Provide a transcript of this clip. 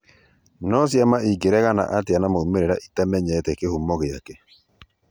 No cĩama ĩngeregana atĩa na maumĩrĩra cĩtamenyete kĩhumo gĩake